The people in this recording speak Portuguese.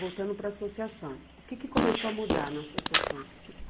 Voltando para a associação, o que que começou a mudar na associação? O que que